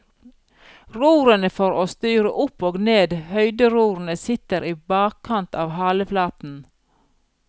Rorene for å styre opp og ned, høyderorene, sitter i bakkant av haleflaten.